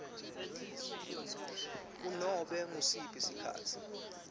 kunobe ngusiphi sikhatsi